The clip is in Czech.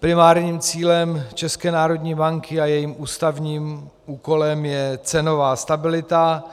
Primárním cílem České národní banky a jejím ústavním úkolem je cenová stabilita,